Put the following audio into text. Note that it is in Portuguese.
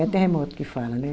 É terremoto que fala, né?